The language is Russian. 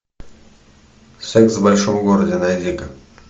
секс в большом городе найди ка